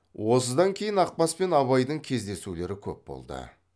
осыдан кейін ақбас пен абайдың кездесулері көп болды